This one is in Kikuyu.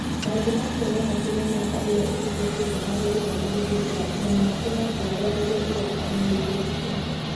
Maũndũ macio no matũme mĩaka ĩrĩa ĩhĩtũkĩte harĩ gĩthomo ĩtuĩke ya tũhũ na matũme njiarũa iria iroka ihĩngĩcĩke.